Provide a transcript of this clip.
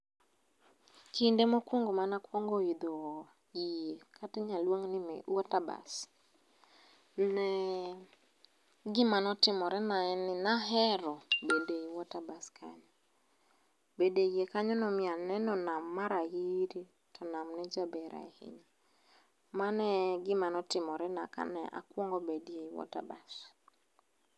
Kinde mokuongo' mane akuongo' aitho yie kata inyal lungni water bus ne gimane otimorena ne en ni nahero bedo ei water bus kanyo bende yie kanyo ne omiya aneno nam marahiri to nam ne jaber ahinya, Mano e gimane otimorena Kane akuongo' bedie water bus